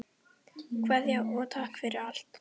Kveðja og takk fyrir allt.